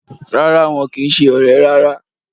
Rárá, wọn kìí se ọ̀rẹ́ rárá